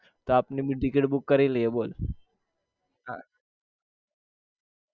તો આપણી બી Ticket book કરી લીએ બોલ